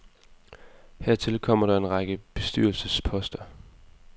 Hertil kommer der en række bestyrelsesposter.